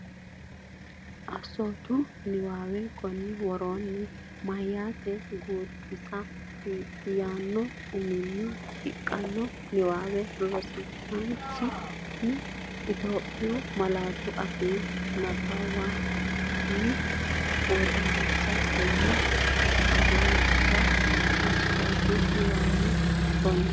Assoote Niwaawe Konni woroonni “Meyaata Guutisa” yaanno uminni shiqqino niwaawe rosiisaanchi’ne Itophiyu malaatu afiinni nabbawanna’ne wodanchitinanni ha’runse Assoote Niwaawe Konni.